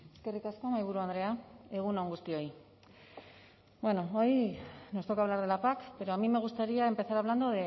eskerrik asko mahaiburu andrea egun on guztioi bueno hoy nos toca hablar de la pac pero a mí me gustaría empezar hablando